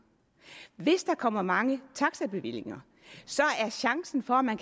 hvis der kommer mange taxabevillinger er chancen for at man